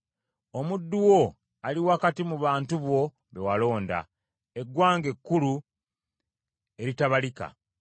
Omuddu wo ali wakati mu bantu bo be walonda, eggwanga ekkulu, eritabalika.